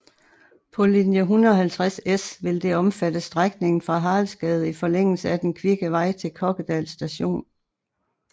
På linje 150S vil det omfatte strækningen fra Haraldsgade i forlængelse af Den kvikke vej til Kokkedal st